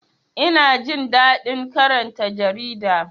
Ina jin daɗin karanta jarida